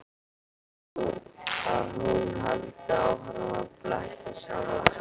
Að hún haldi áfram að blekkja sjálfa sig.